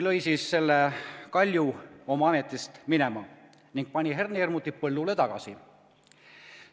Lõid siis selle Kalju oma ametist minema ja panid hernehirmutid põllule tagasi.